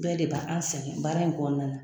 Bɛɛ de ba an sɛgɛn baara in kɔnɔna na